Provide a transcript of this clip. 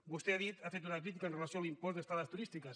vostè ha dit ha fet una crítica amb relació a l’impost d’estades turístiques